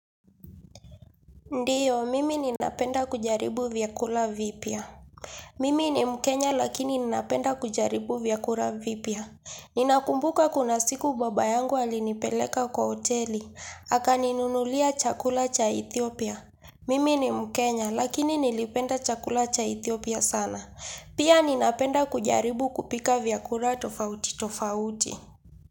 Ndiyo, mimi ninapenda kujaribu vyakula vipya. Mimi ni mkenya lakini ninapenda kujaribu vyakula vipya. Ninakumbuka kuna siku baba yangu alinipeleka kwa hoteli. Akaninunulia chakula cha Ethiopia. Mimi ni mkenya lakini nilipenda chakula cha Ethiopia sana. Pia ninapenda kujaribu kupika vyakula tofauti tofauti.